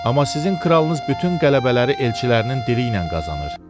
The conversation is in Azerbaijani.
Amma sizin kralınız bütün qələbələri elçilərinin dili ilə qazanır.